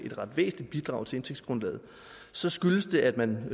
et ret væsentligt bidrag til vores indtægtsgrundlag så skyldes det at man